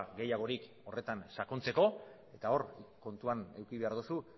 gehiagorik horretan sakontzeko eta hor kontuan eduki behar duzu